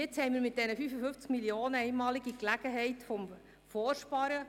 Jetzt haben wir mit diesen 55 Mio. Franken die einmalige Gelegenheit des «Vorsparens».